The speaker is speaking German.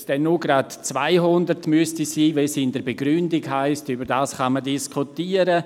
Ob es nur 200 Unterschriften sein müssten, wie in der Begründung steht, darüber kann man noch diskutieren.